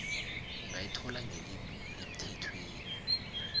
ungayithola ngelimi lemthethweni